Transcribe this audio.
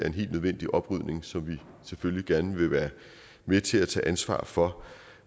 en helt nødvendig oprydning som vi selvfølgelig gerne vil være med til at tage ansvar for